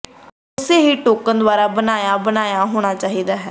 ਅਤੇ ਉਸੇ ਹੀ ਟੋਕਨ ਦੁਆਰਾ ਬੁਣਿਆ ਬੁਣਿਆ ਹੋਣਾ ਚਾਹੀਦਾ ਹੈ